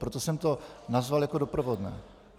Proto jsem to nazval jako doprovodné.